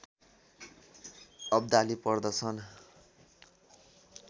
अब्दाली पर्दछन्